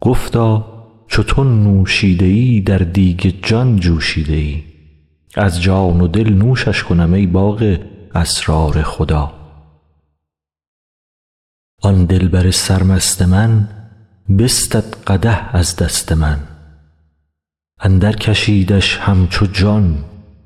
گفتا چو تو نوشیده ای در دیگ جان جوشیده ای از جان و دل نوشش کنم ای باغ اسرار خدا آن دلبر سرمست من بستد قدح از دست من اندرکشیدش همچو جان